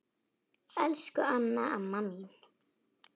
Elsku Anna amma mín.